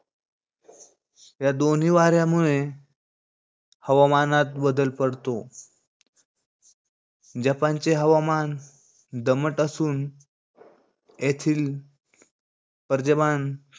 या दोन्ही वाऱ्यामुळे हवामानात बदल पडतो. जपानचे हवामान दमट असून येथील पर्ज्यमान,